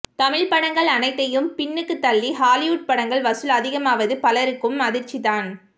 தமிழ் படங்கள் அனைத்தையும் பின்னுக்கு தள்ளி ஹாலிவுட் படங்கள் வசூல் அதிகமாவது பலருக்கும் அதிர்ச்சி தான்